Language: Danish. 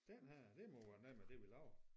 Dén her det må være noget med det vi laver